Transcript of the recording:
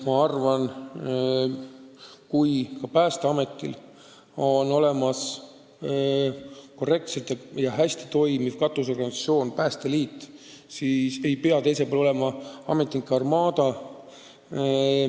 Ma arvan, et kui Päästeametil on olemas korrektselt ja hästi toimiv katusorganisatsioon Päästeliit, siis ei pea neil kõrval olema ametnike armaada.